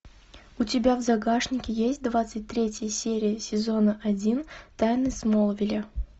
у тебя в загашнике есть двадцать третья серия сезона один тайны смолвиля